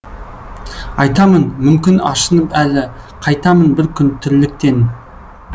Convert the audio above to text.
айтамын мүмкін ашынып әлі қайтамын бір күн тірліктен